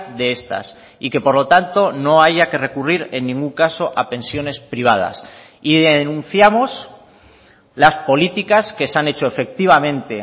de estas y que por lo tanto no haya que recurrir en ningún caso a pensiones privadas y denunciamos las políticas que se han hecho efectivamente